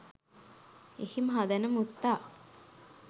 එහි මහදැනමුත්තා